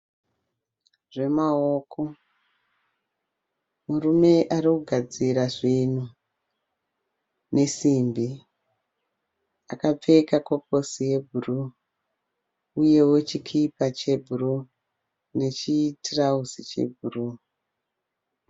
Zvemaoko, murume arikugadzira zvinhu ne simbi, akapfeka koposi ye brue, uyewo chikipa chebrue, nechi trauzi che brue.